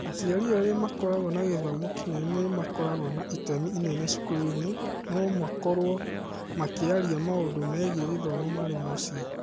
Aciari arĩa makoragwo na gĩthomo kĩnene nĩ makoragwo na itemi inene cukuru-inĩ no makorũo makĩaria maũndũ megiĩ gĩthomo marĩ mũciĩ.